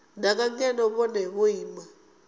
danga ngeno vhone vho ima